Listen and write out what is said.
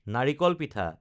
নাৰিকল পিঠা